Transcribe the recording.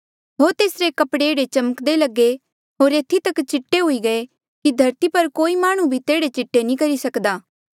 होर तेसरे कपड़े ऐहड़े चमक्दे लगे होर एथी तक चीटे हुई गये कि धरती पर कोई माह्णुं भी तेहड़े चीटे नी करी सक्दा